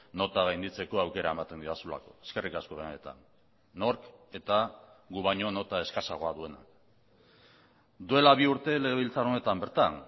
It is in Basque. nota gainditzeko aukera ematen didazulako eskerrik asko benetan nork eta gu baino nota eskasagoa duena duela bi urte legebiltzar honetan bertan